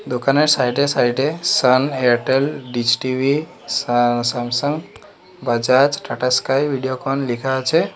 দোকানের সাইড এ সাইড এ সান এয়ারটেল ডিচ টি_ভি সা সামসাং বাজাজ টাটা স্কাই ভিডিওকন লিখা আছে।